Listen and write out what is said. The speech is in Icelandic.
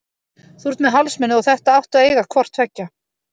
Þú ert með hálsmenið og þetta áttu að eiga hvort tveggja.